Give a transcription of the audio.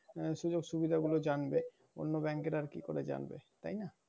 আহ সুযোগ-সুবিধাগুলো জানবে। অন্য bank এর আর কি করে যানবে? তাই না?